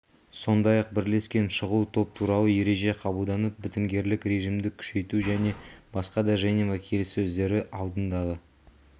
сондай-ақ бірлескен шұғыл топ туралы ереже қабылданып бітімгерлік режимді күшейту және басқа да женева келіссөздері алдындағы